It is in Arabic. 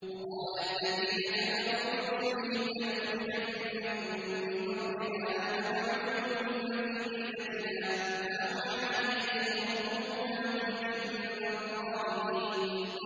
وَقَالَ الَّذِينَ كَفَرُوا لِرُسُلِهِمْ لَنُخْرِجَنَّكُم مِّنْ أَرْضِنَا أَوْ لَتَعُودُنَّ فِي مِلَّتِنَا ۖ فَأَوْحَىٰ إِلَيْهِمْ رَبُّهُمْ لَنُهْلِكَنَّ الظَّالِمِينَ